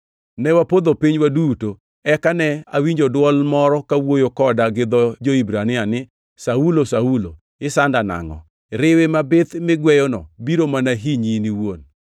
Ne wapodho piny waduto, eka ne awinjo dwol moro kawuoyo koda gi dho jo-Hibrania ni, ‘Saulo, Saulo, isanda nangʼo? Riwi mabith migweyono biro mana hinyi in iwuon.’